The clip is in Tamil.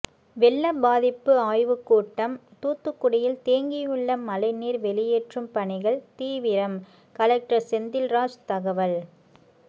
வெள்ள பாதிப்பு ஆய்வுக்கூட்டம் தூத்துக்குடியில் தேங்கியுள்ள மழைநீர் வெளியேற்றும் பணிகள் தீவிரம் கலெக்டர் செந்தில்ராஜ் தகவல்